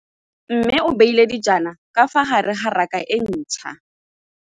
Mmê o beile dijana ka fa gare ga raka e ntšha.